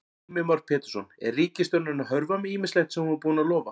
Heimir Már Pétursson: Er ríkisstjórnin að hörfa með ýmislegt sem hún var búin að lofa?